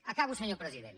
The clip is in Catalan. acabo senyor president